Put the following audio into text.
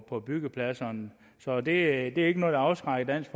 på byggepladserne så det er ikke noget der afskrækker dansk